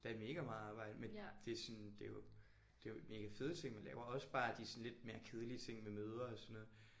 Der er mega meget arbejde men det sådan det jo det jo mega fede ting man laver. Også bare de sådan lidt mere kedelige ting med møder og sådan noget